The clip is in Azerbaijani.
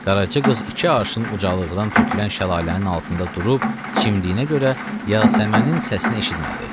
Qaraca qız iki arşın ucalıqdan tökülən şəlalənin altında durub çimdiyi üçün Yasəmənin səsini eşitmədi.